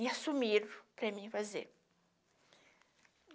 E assumiram para mim fazer.